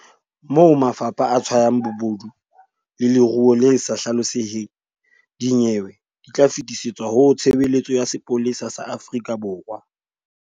Moo mafapha a tshwayang bobodu le leruo le sa hlaloseheng, dinyewe di tla fetisetswa ho Tshebeletso ya Sepolesa sa Afrika Borwa.